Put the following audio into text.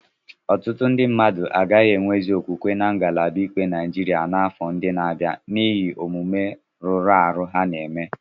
Ọtụtụ ndị mmadụ agaghị enwezị okwukwe na ngalaba ikpe Naịjirịa n'afọ ndị na-abịa n'ihi omume rụrụ arụ ha na eme.